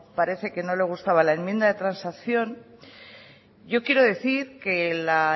parece que no le gustaba la enmienda de transacción yo quiero decir que la